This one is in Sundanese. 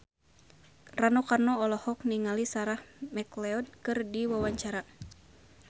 Rano Karno olohok ningali Sarah McLeod keur diwawancara